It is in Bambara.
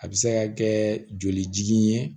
A bɛ se ka kɛ joli ye